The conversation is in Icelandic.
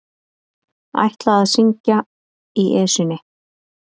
Ætla að syngja í Esjunni